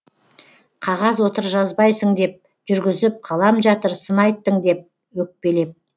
қағаз отыр жазбайсың деп жүргізіп қалам жатыр сын айттың деп өкпелеп